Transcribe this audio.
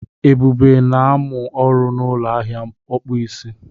Ebube na-amụ ọrụ n'ụlọ ahịa ọkpụisi